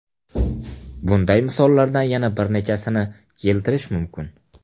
Bunday misollardan yana bir nechasini keltirish mumkin.